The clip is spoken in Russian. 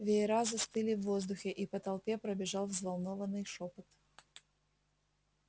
веера застыли в воздухе и по толпе пробежал взволнованный шёпот